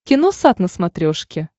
киносат на смотрешке